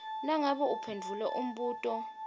nangabe uphendvule umbuto